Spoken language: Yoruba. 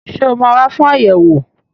Ṣé ó máa wà fún ayẹwo?